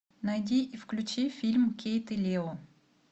найди и включи фильм кейт и лео